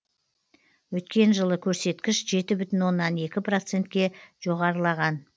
өткен жылы көрсеткіш жеті бүтін оннан екі процентке жоғарылаған